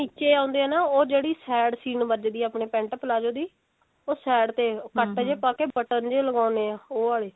ਨਿੱਚੇ ਆਉਂਦੇ ਹੈ ਨਾ ਉਹ ਜਿਹੜੀ side ਸੀਨ ਵਜਦੀ ਹੈ ਆਪਨੇ pent palazzo ਦੀ ਉਹ side ਤੇ cut ਜੇ ਪਾਕੇ button ਜੇ ਲਗਾਉਣੇ ਆਂ ਉਹ ਆਲੀ